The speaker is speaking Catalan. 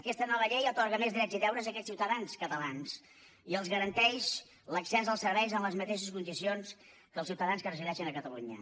aquesta nova llei atorga més drets i deures a aquells ciutadans catalans i els garanteix l’accés als serveis en les mateixes condicions que els ciutadans que resideixen a catalunya